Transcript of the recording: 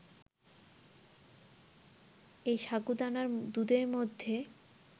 ওই সাগুদানার দুধের মধ্যে